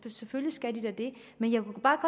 selvfølgelig skal de da det men jeg kunne bare